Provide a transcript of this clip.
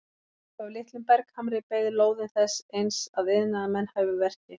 Upp af litlum berghamri beið lóðin þess eins að iðnaðarmenn hæfu verkið.